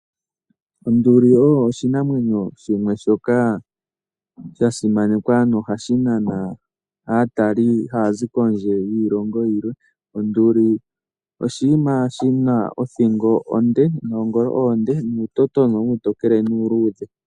Onduli oyo oshinamwenyo shimwe shoka shasimanekwa nohashi nana aatalelipo hayazi kondje yiilongo yilwe. Onduli oshinamwenyo shina othingo onde, noongolo oonde ,nuutotona uutokele nuuluudhe.